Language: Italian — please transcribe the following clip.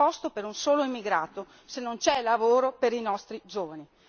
Non c'è posto per un solo migrato se non c'è lavoro per i nostri giovani.